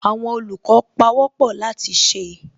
Àwọn olùkọ́ pawọ́pọ̀ láti ṣe